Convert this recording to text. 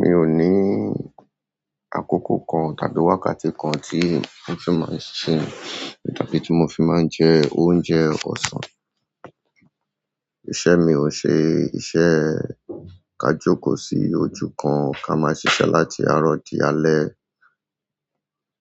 Mi ò ní àkókò kan tàbí wákàtí kan tí mo fi máa ń sinmi tàbí tí mo fi máa ń jẹ oúnjẹ ọ̀sán. Iṣẹ́ mi ò ṣe iṣẹ́ ká jókòó sí ojú kan ká máa ń ṣiṣẹ́ láti àárọ̀ di alẹ́.